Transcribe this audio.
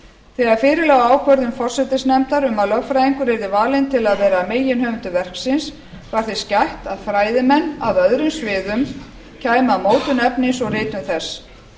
þegar fyrir lá ákvörðun forsætisnefndar um að lögfræðingur yrði valinn til að vera meginhöfundur verksins var þess gætt að fræðimenn á öðrum sviðum kæmu að mótun efnis og ritun þess